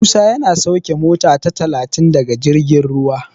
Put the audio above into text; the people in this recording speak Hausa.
Musa yana sauke mota ta talatin daga jirgin ruwa.